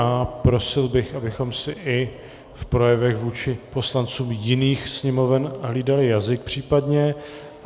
A prosil bych, abychom si i v projevech vůči poslancům jiných sněmoven hlídali jazyk případně.